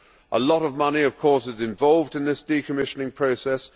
A lot of money, of course, is involved in this decommissioning process.